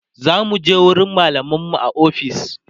zamuje wurin mallamar mu a ofis